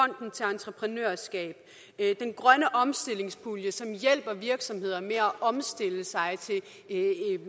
entreprenørskab grøn omstillingspulje som hjælper virksomheder med at omstille sig til